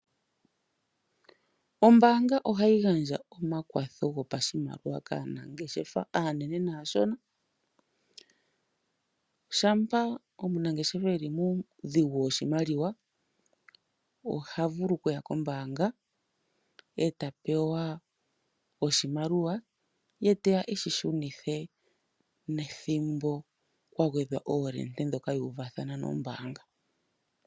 Ombaanga ohayi gandja omakwatho gopashimaliwa kaanangeshefa aanene naashona, shampa omunangeshefa e li muudhigu woshimaliwa oha vulu okuya kombaanga e ta pewa oshimaliwa ye teya eshi shunithe nethimbo kwa gwethwa oolende dhoka yuuvathana nombaanga.